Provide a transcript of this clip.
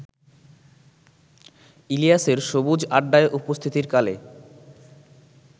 ইলিয়াসের সবুজ-আড্ডায় উপস্থিতির কালে